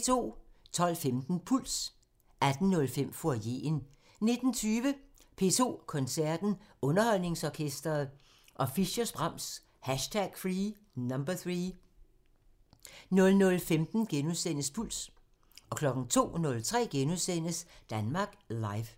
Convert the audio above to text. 12:15: Puls 18:05: Foyeren 19:20: P2 Koncerten – Underholdningsorkestret og Fischers' Brahms #3 00:15: Puls * 02:03: Danmark Live *